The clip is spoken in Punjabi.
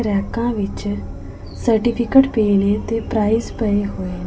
ਰੈਕਾਂ ਵਿੱਚ ਸਰਟੀਫਿਕੇਟ ਪਏ ਨੇ ਤੇ ਪ੍ਰਾਈਜ ਪਏ ਹੋਏ।